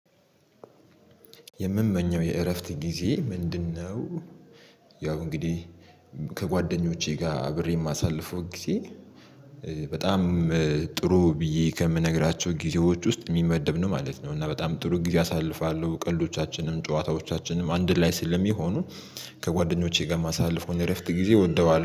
የሚመኘው የእረፍት ጊዜ ምንድነው? ያው እንግዲህ ከጓደኞቼ ጋር አብሬ የማሳልፈው ጊዜ በጣም ጥሩ ብዬ ከምነግራቸው ጊዜዎች ውስጥ የሚመደብ ነው ማለት ነው። እና በጣም ጥሩ ጊዜ አሳልፋለሁ ቀልዶቻችንም ጨዋታዎቻችንም አንድ ላይ ስለሚሆኑ። ከጓደኞቼ ጋር የማሳልፈውን እረፍት ጊዜ እወደዋለሁ